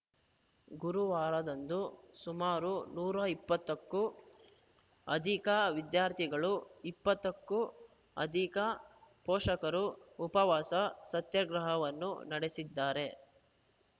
ಗುರುವಾರದಂದು ಸುಮಾರು ನೂರ ಇಪ್ಪತ್ತಕ್ಕೂ ಅಧಿಕ ವಿದ್ಯಾರ್ಥಿಗಳು ಇಪ್ಪತ್ತಕ್ಕೂ ಅಧಿಕ ಪೋಷಕರು ಉಪವಾಸ ಸತ್ಯಾಗ್ರಹವನ್ನೂ ನಡೆಸಿದ್ದಾರೆ